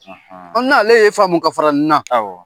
An' ale ye faamu ka fara nin na